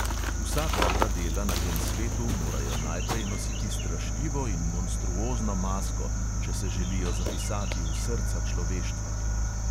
Vsa dobra dela na tem svetu morajo najprej nositi strašljivo in monstruozno masko, če se želijo zapisati v srca človeštva.